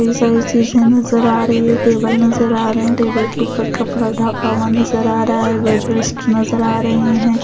सारी चीजें नजर आ रही है टेबल नजर आ रहे हैं टेबल के ऊपर कपड़ा ढापा हुआ नजर आ रहा है बेड रेस्ट नजर आ रहे हैं ।